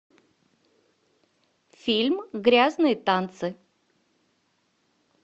фильм грязные танцы